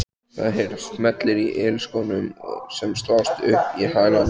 Það heyrast smellir í ilskónum sem slást upp í hælana.